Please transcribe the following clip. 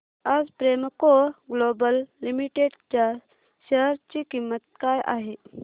आज Premco global limited च्या share ची किंमत काय आहे